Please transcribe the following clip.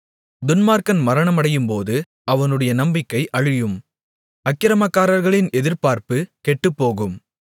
துன்மார்க்கன் மரணமடையும்போது அவனுடைய நம்பிக்கை அழியும் அக்கிரமக்காரர்களின் எதிர்பார்ப்பு கெட்டுப்போகும்